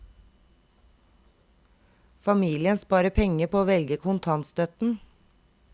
Familien sparer penger på å velge kontantstøtten.